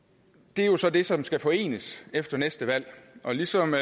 det er jo så det som skal forenes efter næste valg og ligesom